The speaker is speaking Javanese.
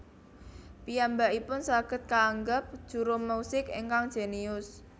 Piyambakipun saged kaangep juru musik ingkang jénius